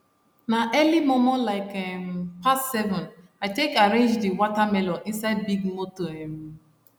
na early momo like um past seven i take arrange di wata melon inside big moto um